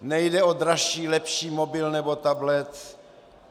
Nejde o dražší, lepší mobil nebo tablet.